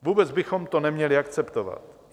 Vůbec bychom to neměli akceptovat.